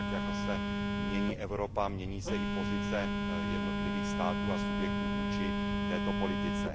Tak jako se mění Evropa, mění se i pozice jednotlivých států a subjektů vůči této politice.